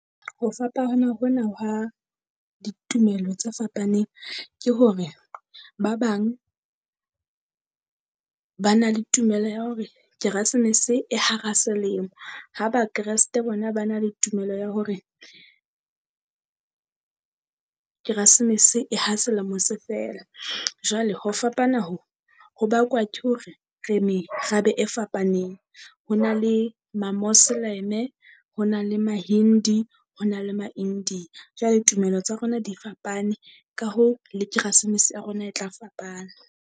Ho hona hwa ditumelo tse fapaneng ke hore, ba bang ba na le tumelo ya hore keresemese e hara selemo. Ha ba kresete bona ba na le tumelo ya hore keresmese e ha selemo se fela. jwale ho fapana ho, ho bakwa ke hore re merabe e fapaneng. Ho na le Mamosleme, ho na le Mahindu, ho na le . Jwale tumelo tsa rona di fapane ka hoo le keresemese ya rona e tla fapana.